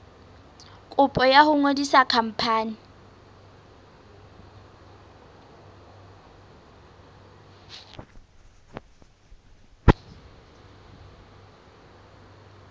kopo ya ho ngodisa khampani